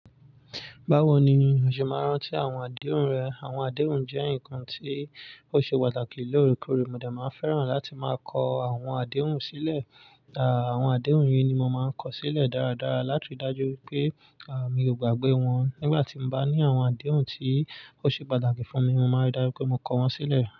Báwo ni o ṣe máa ń rántí àwọn àdéhùn rẹ? Àwọn àdéhùn jẹ́ nǹkan tí ó ṣe pàtàkì lóore kóre. Mo dẹ máa fẹ́ràn láti máa kọ àwọn àdéhùn sílẹ̀. Àwọn àdéhùn yìí ni mo máa ń kọ sílẹ̀ dáradára láti rí i dájú pé, à mi ò gbàgbé wọn. Nígbà tí mo bá ní àwọn àdéhùn tí ó ṣe pàtàkì fún mi, mo máa rí dájú pé mo kọ wọ́n sílẹ̀.